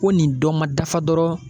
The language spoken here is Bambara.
Ko nin dɔ ma dafa dɔrɔn